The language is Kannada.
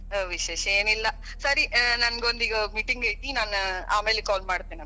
ವಿಶೇಷ ಏನ್ ಇಲ್ಲಾ. ಸರಿ ನನಗ ಒಂದ ಈಗ meeting ಐತಿ, ನಾನ್ ಆಮೇಲಿ call ಮಾಡತೇನಿ ಅಂತ.